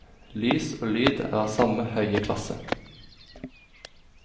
Lys og lyd er av samme høye klasse.